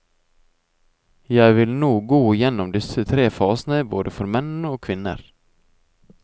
Jeg vil nå gå igjennom disse tre fasene både for menn og kvinner.